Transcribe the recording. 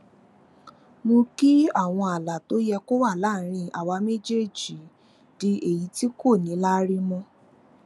mú kí àwọn ààlà tó yẹ kó wà láàárín àwa méjèèjì di èyí tí kò ní láárí mó